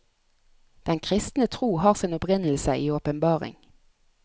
Den kristne tro har sin opprinnelse i åpenbaring.